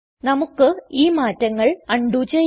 നമുക്ക് ഈ മാറ്റങ്ങൾ അണ്ഡുെ ചെയ്യാം